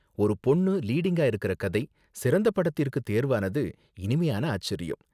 ஒரு பொண்ணு லீடிங்கா இருக்கற கதை சிறந்த படத்திற்கு தேர்வானது இனிமையான ஆச்சரியம்.